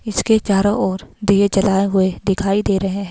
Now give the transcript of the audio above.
इसके चारों ओर दिए जलाए हुए दिखाई दे रहे है।